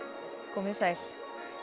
komið þið sæl